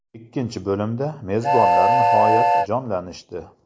Ikkinchi bo‘limda, mezbonlar nihoyat jonlanishdi.